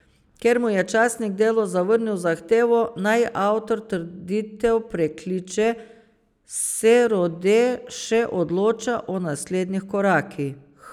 Ker mu je časnik Delo zavrnil zahtevo, naj avtor trditev prekliče, se Rode še odloča o naslednjih korakih.